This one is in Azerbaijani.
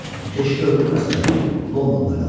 Keşişi öldürməsəydim, Londonda qalardım.